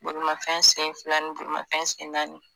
Bolimafɛn sen fila ni bolimafɛn sen naani